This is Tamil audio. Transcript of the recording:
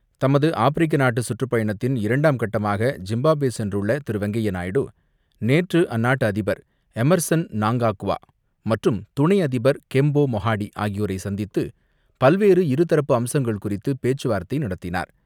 தமது ஆப்பிரிக்க நாட்டு சுற்றுப்பயணத்தின் இரண்டாம் கட்டமாக ஜிம்பாப்வே சென்றுள்ள திரு வெங்கய்ய நாயுடு, நேற்று அந்நாட்டு அதிபர் எம்மர்சன் நாங்காக்வா மற்றும் துணை அதிபர் கெம்போ மொஹாடி ஆகியோரை சந்தித்து பல்வேறு இருதரப்பு அம்சங்கள் குறித்து பேச்சு வார்த்தை நடத்தினார்.